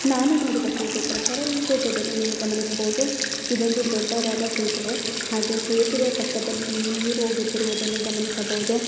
ನಾನು ನೋಡಿದ ಫೋಟೋ ಪ್ರಕಾರ ಈ ಫೋಟೋದಲ್ಲಿ ನೀವು ಗಮನಿಸಬಹುದು ಇದೊಂದು ದೊಡ್ಡದಾದ ಸೇತುವೆ ಹಾಗೆ ಸೇತುವೆ ಪಕ್ಕದಲ್ಲಿ ನೀವು ನೀರ್ ಹೋಗುತ್ತಿರುವುದನ್ನು ಗಮನಿಸಬಹುದು.